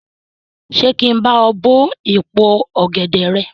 Ṣé kí n bá ọ bó èpo ọ̀gẹ̀dè rẹ?